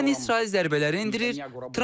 Yəni İsrail zərbələri endirir.